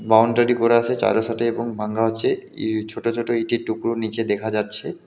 Boundary করা আসে চারো সাডে এবং ভাঙ্গা আছে ই ছোট ছোট ইঁটের টুকরো নীচে দেখা যাচ্ছে।